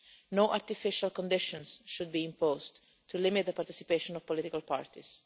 No artificial conditions should be imposed to limit the participation of political parties.